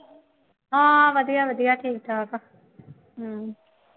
ਹਾਂ ਵਧੀਆ ਵਧੀਆ ਠੀਕ ਠਾਕ ਹੈ ਹੂੰ